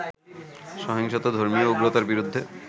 সহিংসত ধর্মীয় উগ্রতার বিরুদ্ধে